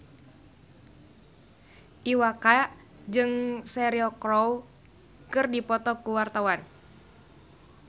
Iwa K jeung Cheryl Crow keur dipoto ku wartawan